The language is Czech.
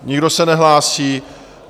Nikdo se nehlásí.